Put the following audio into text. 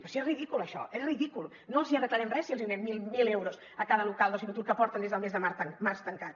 però si és ridícul això és ridícul no els arreglarem res si els donem mil euros a cada local d’oci nocturn que porten des del mes març tancats